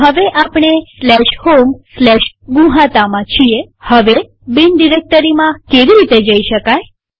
તો હવે આપણે homegnuhata માં છીએહવે બિન ડિરેક્ટરીમાં કેવી રીતે જઈ શકાય